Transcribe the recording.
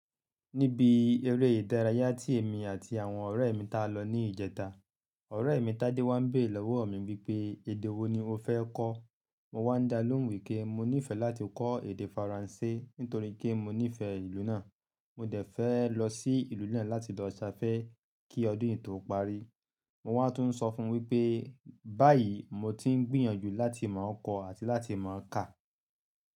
Níbi eré ìdárayá tí èmi àti àwọn ọ̀rẹ́ mi tá lọ ní ìjẹta, ọ̀rẹ́ mi Tádé wá ń béèrè lọ́wọ́ mi wípé, "Èdè wo ni mo fẹ́ kọ́?" Mo wá ń dá lóhùn wí pé mo nífẹ̀ẹ́ láti kọ́ èdè Faransé nítorí pé mo nífẹ̀ẹ́ ìlú náà. Mo dẹ̀ fẹ́ lọ sí ìlú náà láti lọ ṣafẹ́ kí ọdún yìí tó parí. Mo wá tún sọ fún wípé, báyìí mo ti ń gbìyànjú láti mọ̀ kọ́ àti láti mọ̀ kà.